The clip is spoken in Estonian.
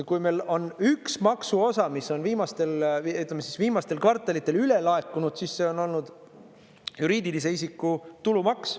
Kui meil on üks maksuosa, mis on viimastel kvartalitel üle laekunud, siis see on olnud juriidilise isiku tulumaks.